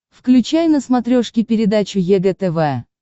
включай на смотрешке передачу егэ тв